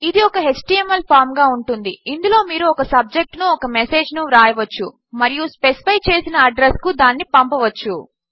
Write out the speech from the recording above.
ఇది ఒక HTML form గా ఉంటుంది ఇందులో మీరు ఒక సబ్జెక్ట్ ను ఒక మెసేజ్ ను వ్రాయవచ్చు మరియు స్పెసిఫై చేసిన అడ్రస్ కు దానిని పంపవచ్చు